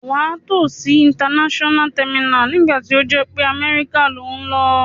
Wà á tò si international terminal nígbàtí o jé pe America lo n lo